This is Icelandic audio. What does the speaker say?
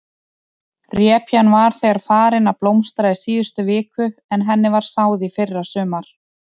Repjan var þegar farin að blómstra í síðustu viku en henni var sáð í fyrrasumar?